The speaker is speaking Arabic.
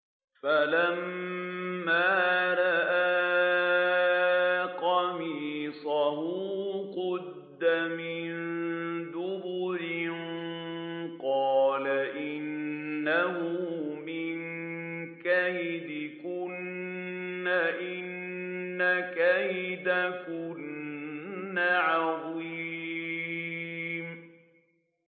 فَلَمَّا رَأَىٰ قَمِيصَهُ قُدَّ مِن دُبُرٍ قَالَ إِنَّهُ مِن كَيْدِكُنَّ ۖ إِنَّ كَيْدَكُنَّ عَظِيمٌ